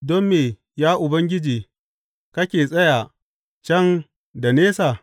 Don me, ya Ubangiji, kake tsaya can da nesa?